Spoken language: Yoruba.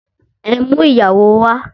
Ẹ mú ìyàwó wà!